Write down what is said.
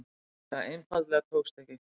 Það einfaldlega tókst ekki.